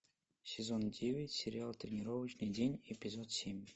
сезон девять сериал тренировочный день эпизод семь